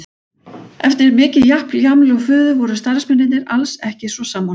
Eftir mikið japl, jaml og fuður voru starfsmennirnir alls ekki svo sammála.